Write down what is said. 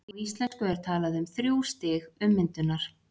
á íslensku er talað um þrjú stig „ummyndunar“